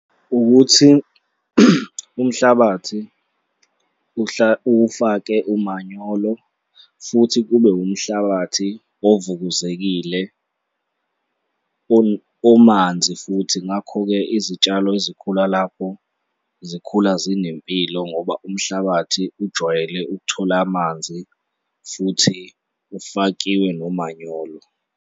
Ukuthi umhlabathi uwufake umanyolo futhi kube umhlabathi ovukuzekile omanzi futhi. Ngakho-ke, izitshalo ezikhula lapho zikhula zinempilo ngoba umhlabathi ujwayele ukuthola amanzi futhi ufakiwe nomanyolo.